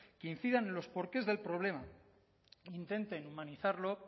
que incidan en los porqués del problema intenten humanizarlo